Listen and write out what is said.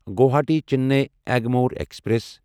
Guwahati Chennai Egmore express